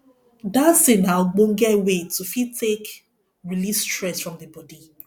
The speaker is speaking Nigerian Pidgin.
dancing na ogbonge way to fit take release stress from di body